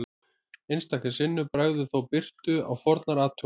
Einstaka sinnum bregður þó birtu á fornar athuganir.